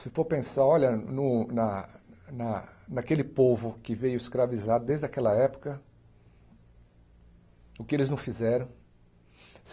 Se for pensar, olha, no na na naquele povo que veio escravizar desde aquela época, o que eles não fizeram.